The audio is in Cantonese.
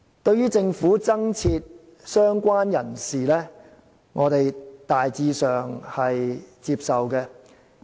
對於政府增設"相關人士"這類別，我們大致上是接受的。